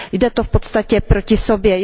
Jde to v podstatě proti sobě.